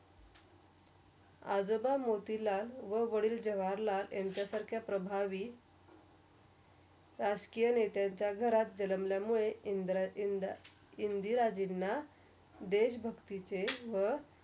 आजोबा मोतीलाल व वाडिल जवाहरलाल यांच्या सारख्या प्रभावि राजकिया नेताच्या घरात जन्मलयामुळे इन्द्र ~इन्द्र ~इंदिराजिंन देश भक्तीचे व.